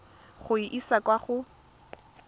go e isa kwa go